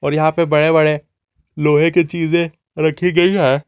यहां पे बड़े बड़े लोहे की चीजें रखी गई है।